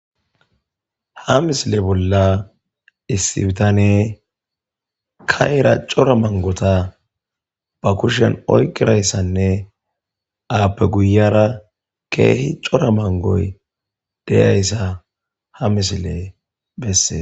ha misile bolla issibtane kaira cora mangota ba kushan oyqirayssanne aappe guyara keehi cora mangoy deyayssa ha misile besse